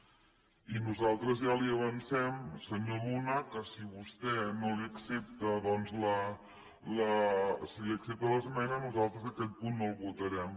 i nosaltres ja li avancem senyor luna que si vostè li accepta l’esmena nosaltres aquest punt no el votarem